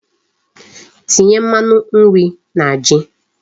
Tinye Mmanu nri na Ji ahu